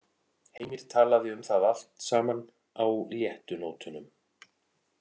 Heimir talaði um það allt saman á léttu nótunum.